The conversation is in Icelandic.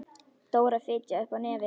Dóra fitjaði upp á nefið.